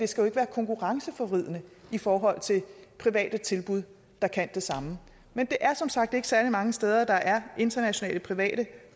skal være konkurrenceforvridende i forhold til private tilbud der kan det samme det er som sagt ikke særlig mange steder der er internationale private